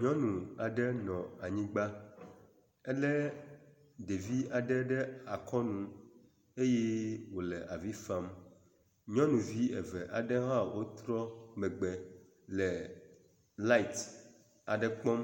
Nyɔnu aɖe nɔ anyigba ele ɖevi aɖe ɖe akɔnu eye wo le avi fam. Nyɔnuvi eve aɖe hã wotrɔ megbe le lati aɖe kpɔm